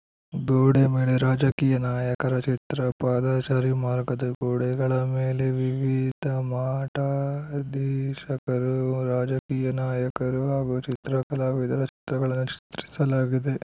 ಗೋಡೆ ಮೇಲೆ ರಾಜಕೀಯ ನಾಯಕರ ಚಿತ್ರ ಪಾದಾಚಾರಿ ಮಾರ್ಗದ ಗೋಡೆಗಳ ಮೇಲೆ ವಿವಿಧ ಮಠಾಧೀಶಕರು ರಾಜಕೀಯ ನಾಯಕರು ಹಾಗೂ ಚಿತ್ರ ಕಲಾವಿದರ ಚಿತ್ರಗಳನ್ನು ಚಿತ್ರಿಸಲಾಗಿದೆ